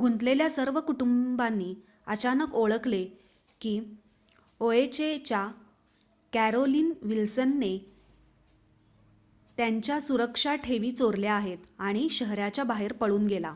गुंतलेल्या सर्व कुटुंबांनी अचानक ओळखले की ओएचए च्या कॅरोलीन विल्सनने त्यांच्या सुरक्षा ठेवी चोरल्या आहेत आणि शहराच्या बाहेर पळून गेला